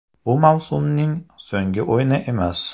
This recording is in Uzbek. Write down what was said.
Bu mavsumning so‘nggi o‘yini emas.